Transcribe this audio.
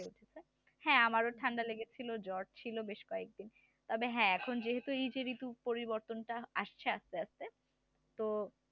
হ্যাঁ আমারও ঠান্ডা লেগেছিল জ্বর ছিল বেশ কয়েকদিন তবে হ্যাঁ এখন যেহেতু এই যে ঋতু পরিবর্তনটা আসছে আস্তে আস্তে তো